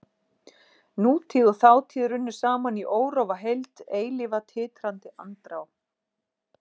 Nútíð og þátíð runnu saman í órofa heild, eilífa titrandi andrá.